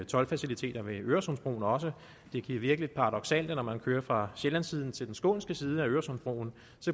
toldfaciliteter ved øresundsbroen også det kan virke lidt paradoksalt at når man kører fra sjællandssiden til den skånske side af øresundsbroen